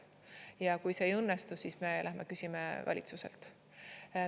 Ja kui see ei õnnestu, siis me lähme küsime valitsuselt.